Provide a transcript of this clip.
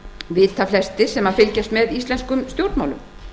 vita flestir sem fylgjast með íslenskum stjórnmálum